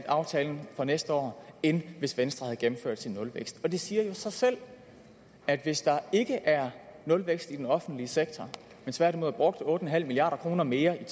aftalen for næste år end hvis venstre havde gennemført sin nulvækst og det siger jo sig selv at hvis der ikke er nulvækst i den offentlige sektor men tværtimod er brugt otte milliard kroner mere i